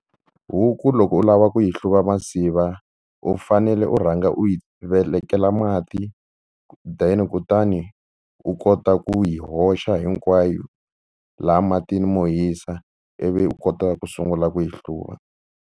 Huku loko u lava ku yi hluva masiva u fanele u rhanga u yi velekela mati then kutani u kota ku yi hoxa hinkwayo laha matini mo hisa ivi u kota ku sungula ku yi hluva.